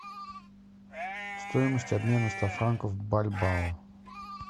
стоимость обмена ста франков бальбао